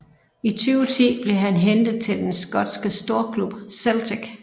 I 2010 blev han hentet til den skotske storklub Celtic